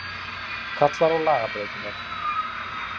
Kallar á lagabreytingar